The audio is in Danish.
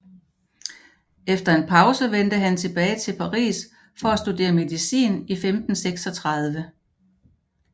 Efter en pause vendte han tilbage til Paris for at studere medicin i 1536